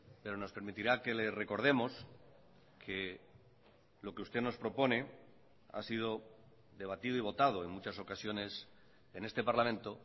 pero nos permitirá que le recordemos que lo que usted nos propone ha sido debatido y votado en muchas ocasiones en este parlamento